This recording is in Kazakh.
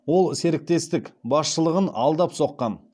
ол серіктестік басшылығын алдап соққан